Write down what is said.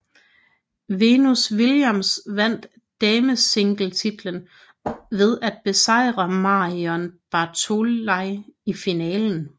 Venus Williams vandt damesingletitlen ved at besejre Marion Bartoli i finalen